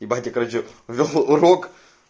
ебать я короче вёл урок